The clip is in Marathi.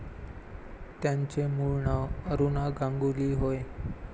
त्यांचे मूळ नाव अरुणा गांगुली होय.